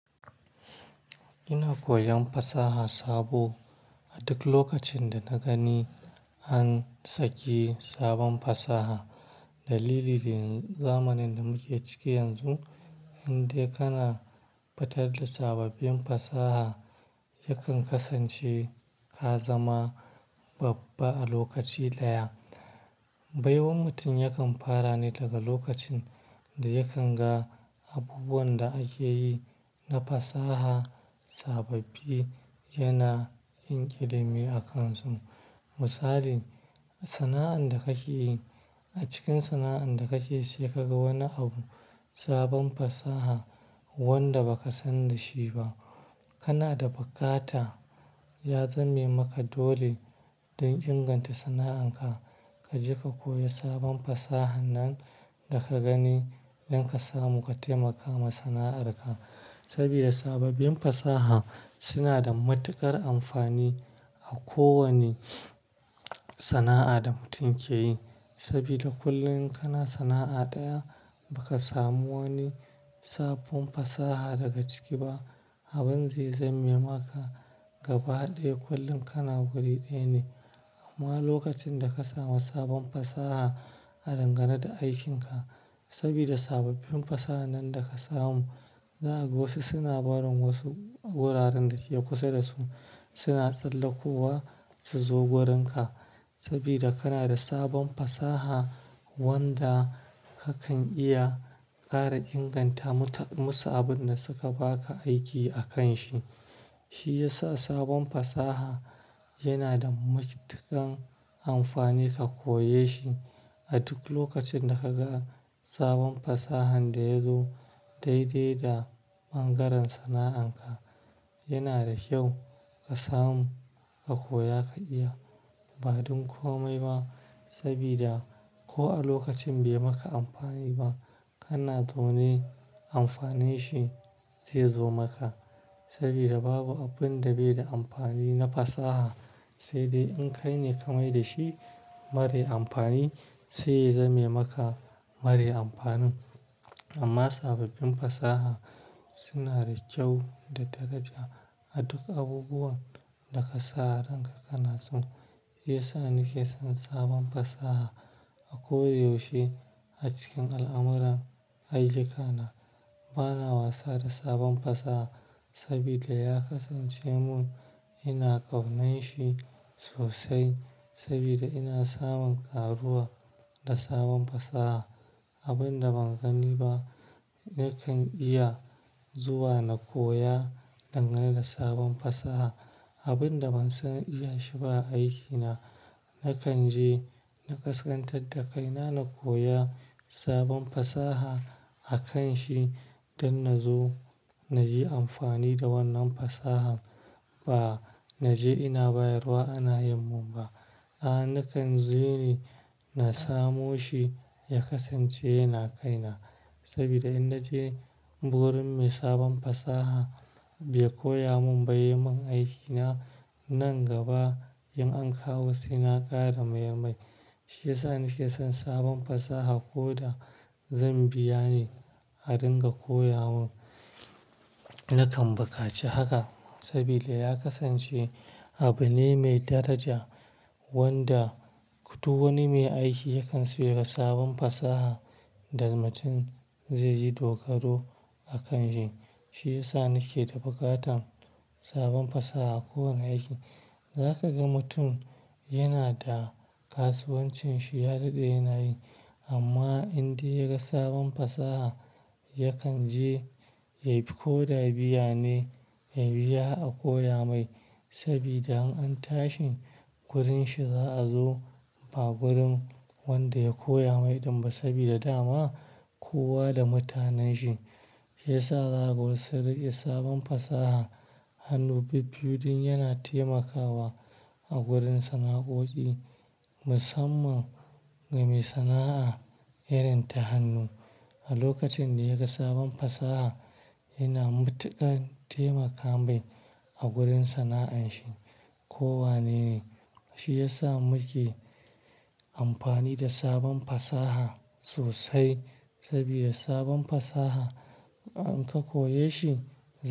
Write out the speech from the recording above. Ina koyan fasaha sabo a duk lokacin da na gani an saki sabon fasaha. Dalili ne zamanin da muke ciki yanzu, indai kana fitar da sababbin fasaha yakan kasance ka zama babba a lokaci daya. Baiwar mutum yakan fara ne daga lokacin da yakan ga abubuwan da ake yi na fasaha sababbi yana yin ƙidame a kansa. Misali, sana'an da kake yi, a cikin sana'an da kake yi sai ka ga wani abu sabon fasaha wanda baka san da shi ba. Kana da bukata ya zame maka dole don inganta sana'an ka. Ka je ka koya sabon fasaha nan da ka gani don ka samu ka taimaka ma sana'ar ka. Saboda sababbin fasaha suna da matuƙar amfani a kowane sana'a da mutum ke yi. Saboda kullum kana sana'a daya, baka samu wani sabon fasaha daga ciki ba. Abin zai zame maka gaba ɗaya kullum kana guri ɗaya ne. Amma lokacin da ka samu sabon fasaha a dangane da aikinka, saboda sababbin fasaha nan da ka samu, zaka ga wasu suna barin wasu wuraren da ke kusa da su suna tsallakowa su zo gurinka. Saboda kana da sabon fasaha wanda kakan iya ƙara inganta muta-- musu abun da suka ba ka aiki akan shi. Shi ya sa sabon fasaha yana da matuƙan amfani ka koye shi a duk lokacin da ka ga sabon fasahan da ya zo daidai da ɓangaren sana'an ka. Yana da kyau ka samu, ka koya ka iya. Ba don komai ba saboda ko a lokacin bai yi maka amfani ba, kana zaune amfanin shi zai zo maka. Sabida babu abun da bai da amfani na fasaha, sai dai in kai ne ka mai da shi mare amfani, sai ya zame maka mare amfanin. Amma sababbin fasaha suna da kyau da daraja a duk abubuwan da ka sa a ranka kana su. Shi ya sa ni ke son sabon fasaha a koyaushe. A cikin al'amura, aiyuka na, bana wasa da sabon fasaha saboda ya kasance mun ina ƙaunar shi sosai. Saboda ina samun karuwa da sabon fasaha. Abin da ban gani ba, nakan iya zuwa na koya dangane da sabon fasaha. Abin da ban san iya shi ba a aikina, nakan je na ƙasƙantar da kaina na koya sabon fasaha akan shi don na zo na yi amfani da wannan fasahan. Ba na je ina bayarwa ana yin mun ba. Aa, nakan je ni na samo shi ya kasance yana kai na. Sabida in na je gurin mai sabon fasaha bai koya mun ba yai mun aikina, nan gaba in an kawo sai na ƙara maye mai. Shi ya sa ni ke son sabon fasaha koda zan biya ne a dinga koya mun nakan bukaci haka. Saboda ya kasance abu ne mai daraja wanda duk wani mai aiki yakan so yaga sabon fasaha da mutum zai yi dogaro akan shi. Shi ya sa nake da bukatan sabon fasaha a kowane aiki. Za ka ga mutum yana da kasuwancin shi ya daɗe yana yi, amma in dai ya ga sabon fasaha yakan je ya bi ko da biya ne ya biya a koya mai. Sabida in an tashi gurin shi za a zo ba gurin wanda ya koya mai ɗin ba. Saboda dama kowa da mutanen shi. Shi ya sa za'a ga wasu sun riƙe sabon fasaha hannu bibbiyu din yana taimakawa a gurin sana'o'i, musamman ga mai sana'a irin ta hannu. A lokacin da ya ga sabon fasaha yana matuƙar taimaka mai a gurin sana'an shi ko wanene. Shi ya sa muke amfani da sabon fasaha sosai sabida sabon fasaha in ka koya shi--